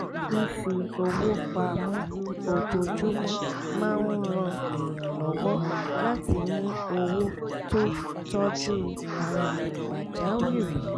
fífi owó pa mọ́ ojoojúmọ́ máa ń ran èèyàn lọ́wọ́ láti ní owó tó tọ́jú ara pàjáwìrì